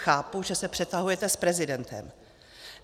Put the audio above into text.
Chápu, že se přetahujete s prezidentem.